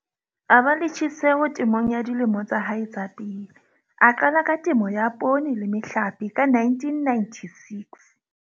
A ba le tjheseho temong dilemong tsa hae tsa pele, a qala ka temo ya poone le mehlape ka 1996.